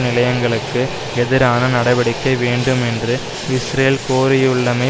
நிலையங்களுக்கு எதிரான நடவடிக்கை வேண்டும் என்று இஸ்ரேல் கோரியுள்ளமை